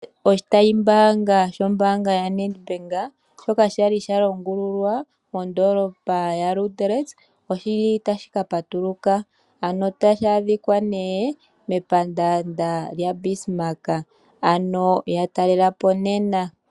Oshitayi mbaanga sho mbaanga yaNedbank shoka shali sha longululwa modoolopa ya Luderitz, oshili tashi ka patuluka ano tashi adhika nee mepandaanda lya Bismarch ano ya talelapo nena.